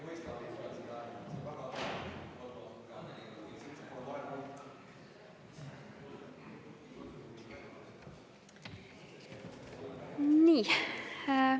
Nii.